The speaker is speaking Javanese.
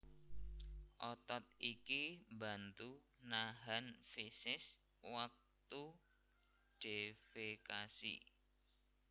Otot iki mbantu nahan feses wektu defekasi